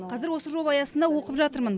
қазір осы жоба аясында оқып жатырмын